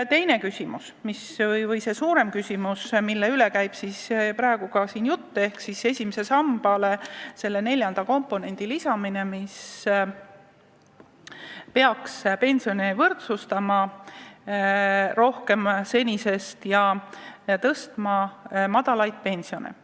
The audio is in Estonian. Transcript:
Teine suurem küsimus, mis on täna ka siin jutuks olnud, on esimesele sambale neljanda komponendi lisamine, mis peaks pensione senisest rohkem võrdsustama ja madalaid pensione tõstma.